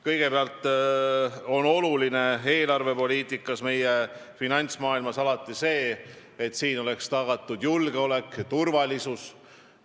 Kõigepealt on eelarvepoliitikas ja finantsmaailmas alati oluline see, et oleks tagatud julgeolek ja turvalisus.